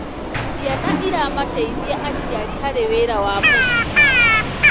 Ciana ciramateithia aciari harĩ wĩra wa mũciĩ.